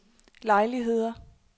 lejligheder